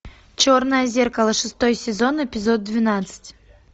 черное зеркало шестой сезон эпизод двенадцать